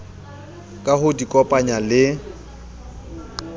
ka ho di kopanya le